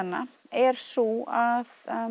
er sú að